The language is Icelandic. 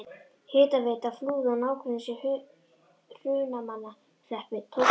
Hitaveita Flúða og nágrennis í Hrunamannahreppi tók til starfa.